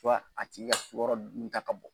a tigi ka sukaro dun ta ka bɔ.